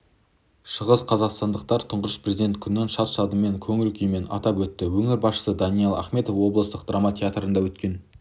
шығысқазақстандықтар тұңғыш президент күнін шат-шадыман көңіл-күймен атап өтті өңір басшысы даниал ахметов облыстық драма театрында өткен